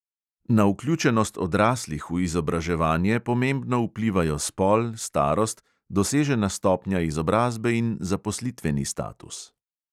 Na vključenost odraslih v izobraževanje pomembno vplivajo spol, starost, dosežena stopnja izobrazbe in zaposlitveni status.